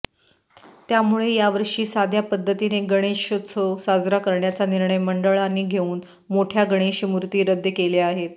त्यामुळे यावर्षी साध्या पद्धतीने गणेशोत्सव साजरा करण्याचा निर्णय मंडळांनी घेऊन मोठय़ा गणेशमूर्ती रद्द केल्या आहेत